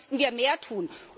Da müssten wir mehr tun!